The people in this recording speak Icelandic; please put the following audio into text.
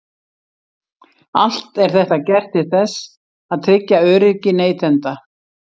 Allt er þetta gert til þess að tryggja öryggi neytenda.